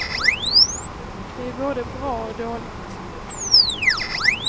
Det är både bra och dåligt.